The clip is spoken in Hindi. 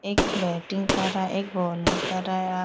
एक बैटिंग कर रहा है एक बोलिंग कर रहा है। आ --